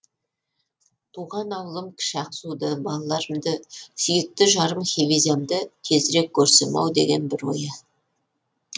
туған ауылым кіші ақсуды балаларымды сүйікті жарым хевизямды тезірек көрсем ау деген бір ойы